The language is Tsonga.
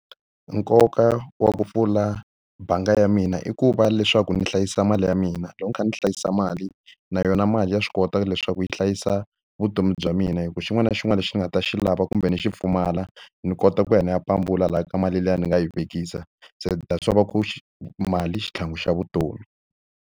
Nkoka wa ku pfula bangi ya mina i ku va leswaku ndzi hlayisa mali ya mina. Loko ni kha ni hlayisa mali, na yona mali ya swi kota leswaku yi hlayisa vutomi bya bya mina. Hikuva xin'wana na xin'wana lexi ni nga ta xi lava kumbe ni xi pfumala, ni kota ku ya ni ya pambula lahaya ka mali liya ni nga yi vekisa. Se that's why va ku mali i xitlhangu xa vutomi.